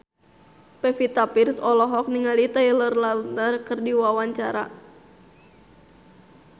Pevita Pearce olohok ningali Taylor Lautner keur diwawancara